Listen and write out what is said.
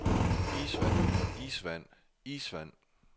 isvand isvand isvand